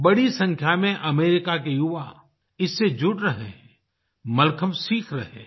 बड़ी संख्या में अमेरिका के युवा इससे जुड़ रहे हैं मलखम्ब सीख रहे हैं